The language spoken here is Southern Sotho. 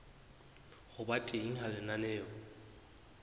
ho ba teng ha lenaneo